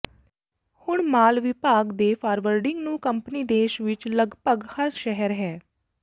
ਹੁਣ ਮਾਲ ਵਿਭਾਗ ਦੇ ਫਾਰਵਰਡਿੰਗ ਨੂੰ ਕੰਪਨੀ ਦੇਸ਼ ਵਿਚ ਲਗਭਗ ਹਰ ਸ਼ਹਿਰ ਹੈ